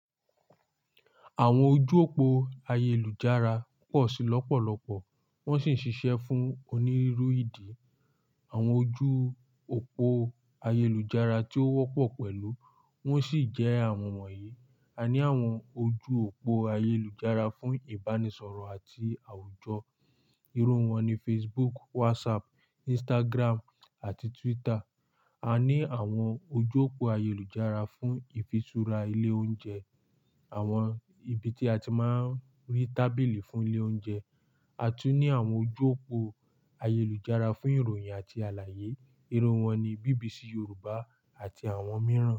Àwọn ojú òpó ayélujára pọ̀ sí lọ́pọ̀lọ́pọ̀ wọ́n sì ń ṣiṣẹ́ fún onírúurú ìdí. Àwọn ojú òpó ayélujára tí ó wọ́pọ̀ pẹ̀lú wọ́n sì jẹ́ àwọn wọ̀nyí: A ní àwọn ojú òpó ayélujára fún Ìbánisọ̀rọ̀ àti àwùjọ, irú wọn ni Facebook, WhatsApp, Instagram àti Twitter. A ní àwọn ojú òpó ayélujára fún ìfisúra ilé oúnjẹ, àwọn ibi tí a ti máa ń rí tábìlì fún ilé oúnjẹ. A tún ní àwọn ojú òpó ayélujára fún ìròyìn àti àlàyé, irú wọn ni BBC Yorùbá àti àwọn mìíràn.